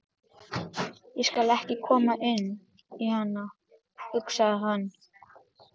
Ég skal ekki koma inn í hana, hugsaði hann.